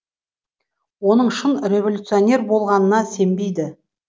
оның шын революционер болғанына сенбейді